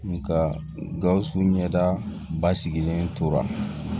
Nka gawusu ɲɛda basigilen tora